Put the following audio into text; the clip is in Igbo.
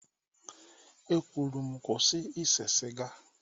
E kwuru m, kwụsị ise siga